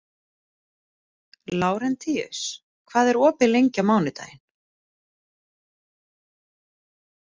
Lárentíus, hvað er opið lengi á mánudaginn?